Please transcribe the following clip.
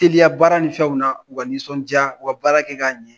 teliya baara nin fɛnw na u ka nisɔndiyau ka baara kɛ k'a ɲɛ